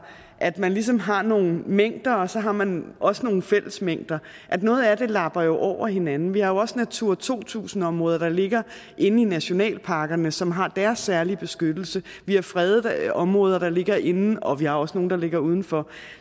at man ligesom har nogle mængder og så har man også nogle fællesmængder noget af det lapper jo over hinanden vi har jo også natura to tusind områder der ligger inde i nationalparkerne som har deres særlige beskyttelse vi har fredede områder der ligger inde og vi har også nogle der ligger uden for